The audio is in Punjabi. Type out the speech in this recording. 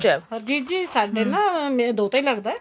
ਏ ਹਰਜੀਤ ਜੀ ਨਾ ਮੇਰਾ ਦੋਤਾ ਈ ਲੱਗਦਾ